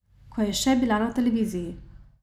Ko je še bila na televiziji ...